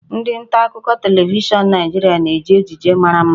Ndị nta akụkọ televishọn Naịjirịa na-eji ejiji mara mma